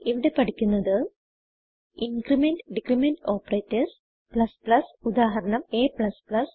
ഇവിടെ പഠിക്കുന്നത് increment decrement operators ഉദാഹരണം a